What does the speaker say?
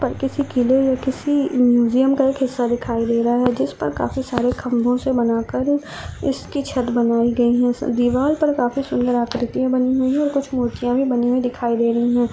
किसी किले में किसी म्यूजियम का एक हिस्सा दिखाई दे रहा है जिस पर काफी सारे खम्बो से बनाकर इसकी छत बनाई गयी है दिवार पर काफी सूंदर आकृतियाँ बनी हुई है और कुछ मुर्तिया भी बनी हुई दिखाई दे रही है।